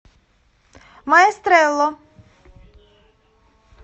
маэстрелло